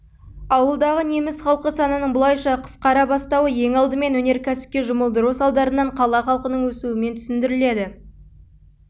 ауылдағы неміс халқы санының бұлайша қысқара бастауы ең алдымен өнеркәсіпке жұмылдыру салдарынан қала халқының өсуімен түсіндіріледі